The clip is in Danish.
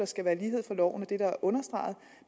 skal være lighed for loven det jeg understrege